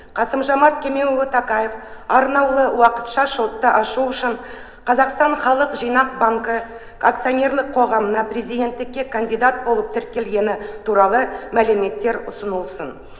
қасым жомарт кемелұлы тоқаев арнаулы уақытша шотты ашу үшін қазақстан халық жинақ банкі акционерлік қоғамына президенттікке кандидат болып тіркелгені туралы мәліметтер ұсынылсын